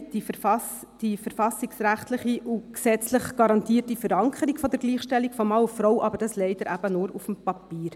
Wir haben die verfassungsrechtliche und gesetzlich garantiere Verankerung der Gleichstellung von Mann und Frau, aber eben leider nur auf dem Papier.